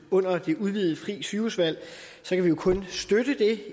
under det udvidede frie sygehusvalg kan vi jo kunne støtte det